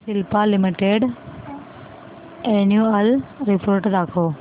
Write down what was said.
Cipla limited annual report दाखव